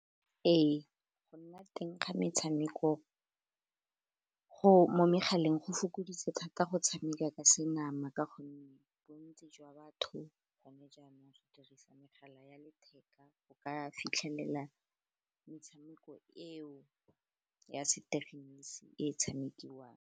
Ee, go nna teng ga metshameko mo megaleng go fokoditse thata go tshameka ka senama, ka gonne bontsi jwa batho gone jaanong re dirisa megala ya letheka go ka fitlhelela metshameko eo ya setegeniki e tshamekiwang.